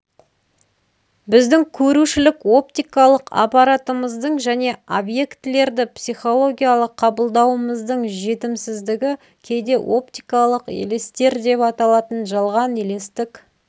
біздің көрушілік оптикалық аппаратымыздың және объектілерді психологиялық қабылдауымыздың жетімсіздігі кейде оптикалық елестер деп аталатын жалған елестік